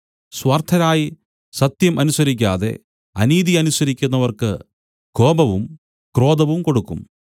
സ്വാർത്ഥരായി സത്യം അനുസരിക്കാതെ അനീതി അനുസരിക്കുന്നവർക്ക് കോപവും ക്രോധവും കൊടുക്കും